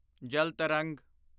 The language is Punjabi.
ਜਲ ਤਰੰਗ